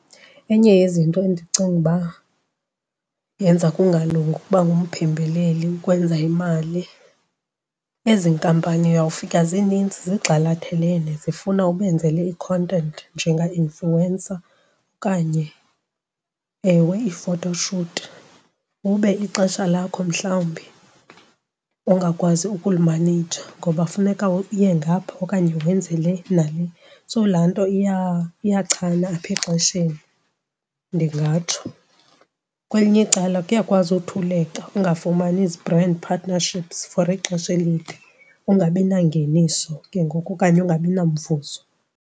Enye yezinto endicinga uba yenza kungalungi ukuba ngumphembeleli ukwenza imali, ezi nkampani uyawufika zininzi zigxalathelene zifuna ubenzele i-content njenga-influencer okanye ewe i-photo shoot ube ixesha lakho mhlawumbi ungakwazi ukulimaneyja ngoba kufuneka uye ngapha okanye wenze le nale. So laa nto iyachana apha exesheni, ndingatsho. Kwelinye icala kuyakwazi uthuleka ungafumani zi-brand partnerships for ixesha elide, ungabi nangeniso ke ngoku okanye ungabi namvuzo.